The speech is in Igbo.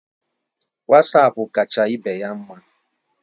Wasapu kacha ibeya mma